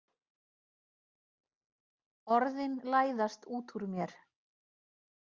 Orðin læðast út úr mér.